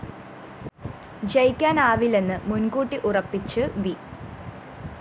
ജയിക്കാനാവില്ലെന്ന് മുന്‍കൂട്ടി ഉറപ്പിച്ച് വി